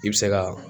I bɛ se ka